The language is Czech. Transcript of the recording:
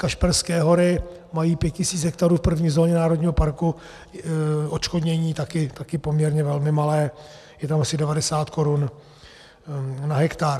Kašperské Hory mají 5 000 hektarů v první zóně národního parku, odškodnění také poměrně velmi malé, je tam asi 90 korun na hektar.